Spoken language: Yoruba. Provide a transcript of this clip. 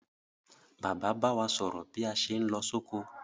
Bàbá ba wa sòrò bí a sé n lo sóko